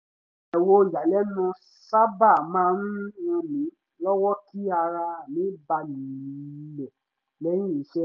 bẹ̀wò ìyàlẹ́nu sábà maá ń ràn mí lọ́wọ́ kí ara mi balẹ̀ lẹ́yìn iṣẹ́